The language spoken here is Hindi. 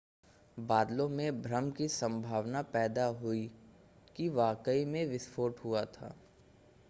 बादलों से भ्रम की संभावना पैदा हुई कि वाकई में विस्फोट हुआ था